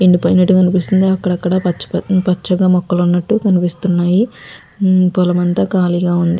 ఎండిపోయినట్టు కనిపిస్తుంది అక్కడక్కడ పచ్చగా మొక్కలు ఉన్నట్టు కనిపిస్తున్నాయి పొలమంతా ఖాళీగా ఉంది.